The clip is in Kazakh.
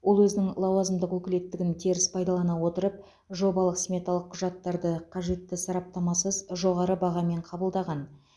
ол өзінің лауазымдық өкілеттігін теріс пайдалана отырып жобалық сметалық құжаттарды қажетті сараптамасыз жоғары бағамен қабылдаған